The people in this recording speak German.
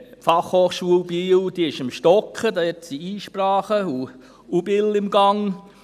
Die Fachhochschule Biel ist am Stocken, da gibt es Einsprachen, und es ist Unbill im Gang.